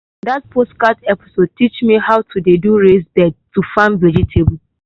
that podcast episode teach me to how to dey do raised beds to farm vegetable.